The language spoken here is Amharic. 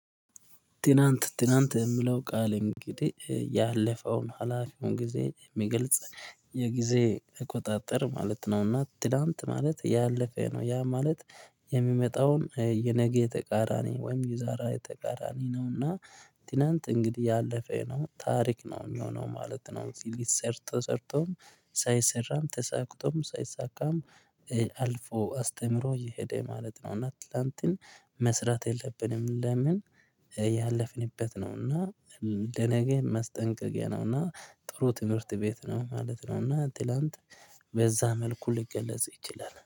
ትናንት ትናንት የለው ቃል እንግዲህ ያለፈውን ሀላፊውን ጊዜ የሚገልጽ የጊዜ እቆጣጠር ማለት ነው። እና ትላንት ማለት ያለፈ ነው ያ ማለት የሚመጣውን የነገ የተቃራኒ ወይም የዛሬ የተቃራኒ ነው። እና ትናንት እንግዲህ ያለፈ ነው ታሪክ ነው የሚሆነው ማለት ነው። ሰርቶ ሰርቶም ሳይሰራም ተሳክቶም ሳይሳካም አልፎ አስተምሮ እየሄደ ማለት ነው። እና ትላንትን መስራት የለብንም ለምን ያለፍንበት ነው እና ለነገ መስጠንቀያ ነውና። እና ጥሩ ትምህርት ቤት ነው ማለት ነው። እና ትላንት በዛ መልኩ ሊገለጽ ይችላል